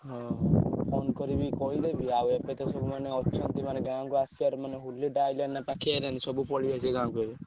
ହଁ phone କରିବି କହିଦେବି। ଆଉ ଏବେତ ସବୁମାନେ ଅଛନ୍ତି ମାନେ ଗାଁକୁ ଆସିଆର ମାନେ ହୋଲିଟା ଆଇଲାଣି ନା ପାଖେଇ ଆଇଲାଣି ସବୁ ପଳେଇଆସିବେ ଗାଁକୁ ଏବେ।